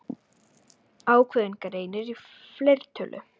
Ákveðinn greinir í fleirtölu.